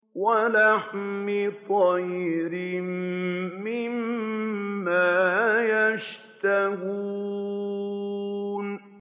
وَلَحْمِ طَيْرٍ مِّمَّا يَشْتَهُونَ